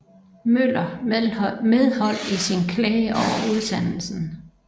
Møller medhold i sin klage over udsendelsen